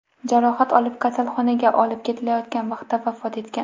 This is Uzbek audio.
jarohat olib, kasalxonaga olib ketilayotgan vaqtida vafot etgan.